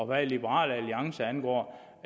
hvad liberal alliance angår